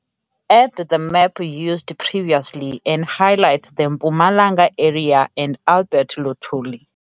Add the map used previously and highlight the Mpumalanga area and Albert Luthuli